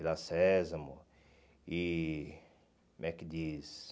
Vila Sésamo e, como é que diz?